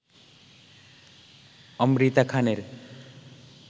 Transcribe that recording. অমৃতা খানের